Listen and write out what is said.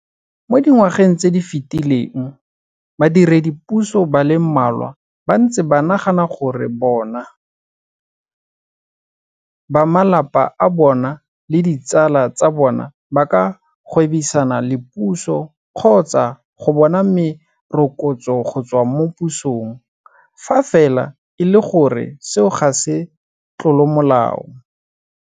Mo dingwageng tse di fetileng badiredipuso ba le mmalwa ba ntse ba nagana gore bona, ba malapa a bona le ditsala tsa bona ba ka gwebisana le puso kgotsa go bona merokotso go tswa mo pusong fa fela e le gore seo ga se tlolomolao.